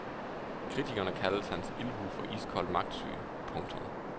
Kritikerne kalder hans ildhu for iskold magtsyge. punktum